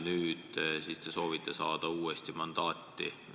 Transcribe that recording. Nüüd te soovite selleks uuesti mandaati saata.